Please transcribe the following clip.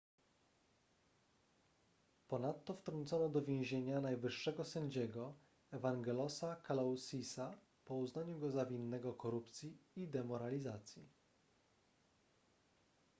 ponadto wtrącono do więzienia najwyższego sędziego evangelosa kalousisa po uznaniu go za winnego korupcji i demoralizacji